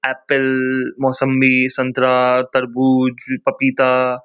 apple मोसंबी संतरा-आ तरमू-उ-ज पपिता-आ--